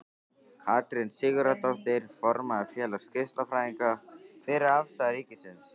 Katrín Sigurðardóttir, formaður Félags geislafræðinga: Hver er afstaða ríkisins?